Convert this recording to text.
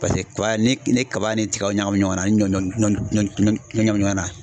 Paseke kaba ni ye kaba ni tigaw ɲagami ɲɔgɔnna ani ɲɔ ɲɔ ɲɔ ɲɔ ɲagami ɲɔgɔnna.